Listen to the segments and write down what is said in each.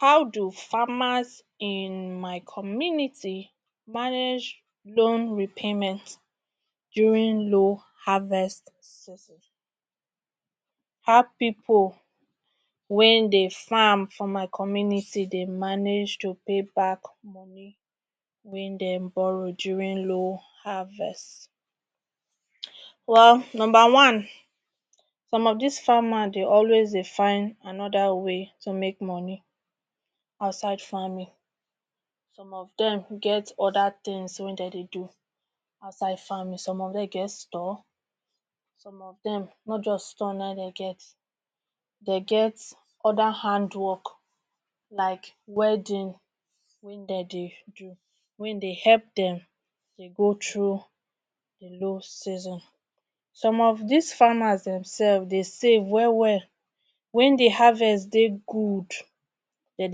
How do farmers in my community manage loan repayment during low harvest. How pipo wen dey farm for my community dey manage to pay back loan wen dem borrow during low harvest. Well, number one some of dis farmers dem, always dey find oda ways to make money out side farming, some of dem get oda tins wey dem dey do outside farming, some of dem get store, some of dem products store na im dem get, dem get oda hand work like welding wey dem dey do wen dey help dem go through low season. Some of dis farmers dem dey save wel wel, wen di harvest dey good dem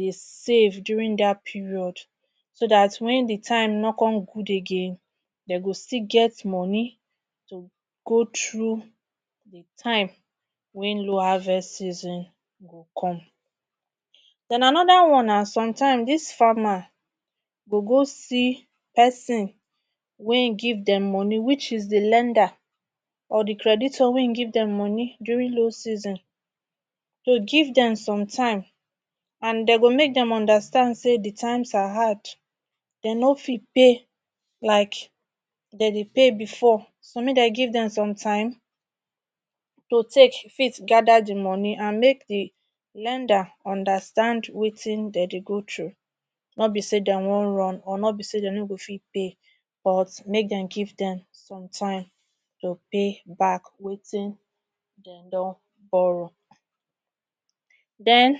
dey save during dat period so dat wen di time no come good again dem go still get money go through time wen low harvest season come. Den anoda one na somtime dis farmers go go see pesin wey give dem di money which is di lender or di creditor wey give dem money during dos season to give dem some time and dem to male dem understand say di times are hard, dem no fit pay like dem dey pay bifor so, make dem give dem some time to take meet gada di money and make di lender understand wetin dem dey go through nobi say dem wan run or nobi say dem no go fit pay but make dem give dem time to payback wetin dem don borrow. Den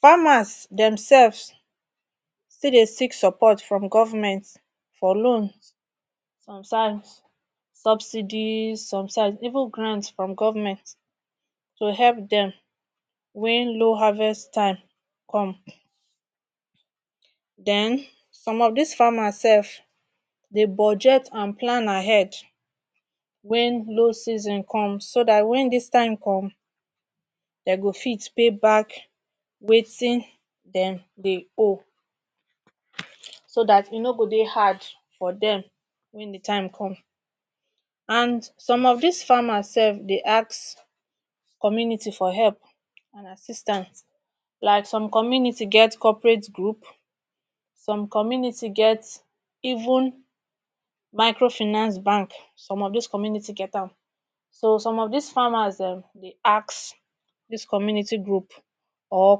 farmers dem sefs, still dey seek support from govment for loans, sometimes subsidy, sometimes even grant from govment to help dem wen low harvest time come. Den, some of dis farmers sef, dey project and plan ahead wen dos season comes so dat wen dis time come dem go fit pay back wetin dem dey owe so dat e no-go dey hard for dem wen di time come. And some of dis farmers sef dey ask community for help or assistance. Like some community get cooperate group, like some community get even microfinance bank some of dis community get am. So some of dis farmers dem dey ask dis community group or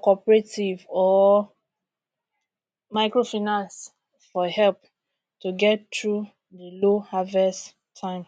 cooperative, or microfinance for help to get through low harvest time